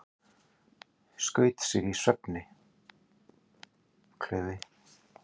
Skaut sig í svefni